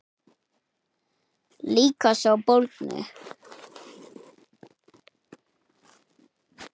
Líka sá bólgni.